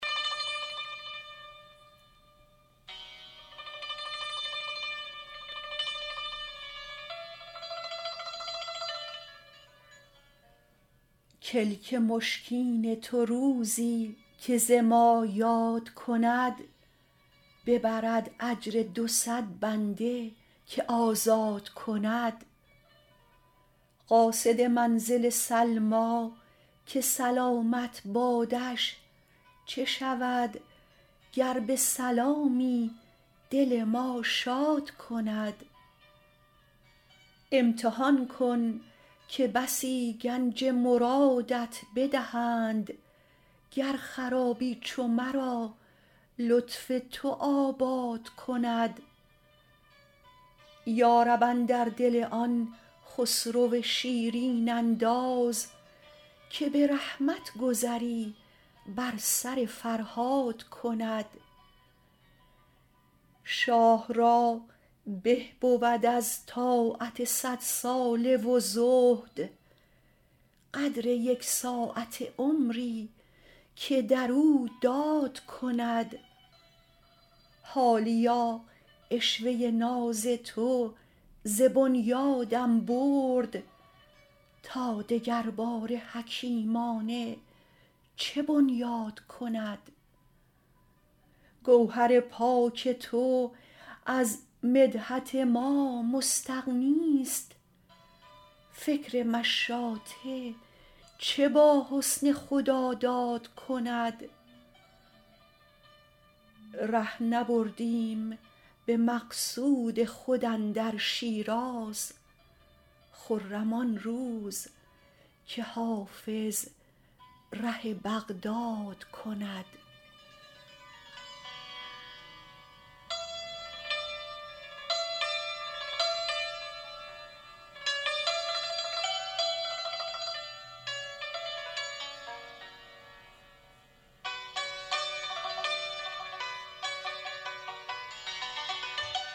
کلک مشکین تو روزی که ز ما یاد کند ببرد اجر دو صد بنده که آزاد کند قاصد منزل سلمیٰ که سلامت بادش چه شود گر به سلامی دل ما شاد کند امتحان کن که بسی گنج مرادت بدهند گر خرابی چو مرا لطف تو آباد کند یا رب اندر دل آن خسرو شیرین انداز که به رحمت گذری بر سر فرهاد کند شاه را به بود از طاعت صدساله و زهد قدر یک ساعته عمری که در او داد کند حالیا عشوه ناز تو ز بنیادم برد تا دگرباره حکیمانه چه بنیاد کند گوهر پاک تو از مدحت ما مستغنیست فکر مشاطه چه با حسن خداداد کند ره نبردیم به مقصود خود اندر شیراز خرم آن روز که حافظ ره بغداد کند